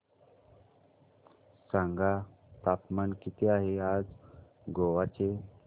सांगा तापमान किती आहे आज गोवा चे